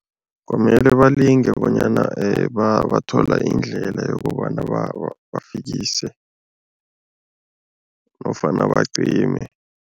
Kwamele balinge bonyana bathola indlela yokobana bafikise nofana bacime.